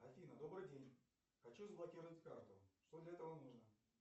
афина добрый день хочу заблокировать карту что для этого нужно